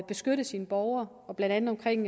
beskytte sine borgere blandt andet omkring